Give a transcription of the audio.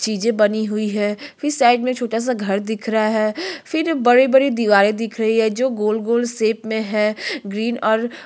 चीजे बनी हुई है फिर साइड में छोटा-सा घर दिख रहा है फिर बड़े-बड़े दिवारे दिख रही है जो गोल-गोल शेप मे है ग्रीन और--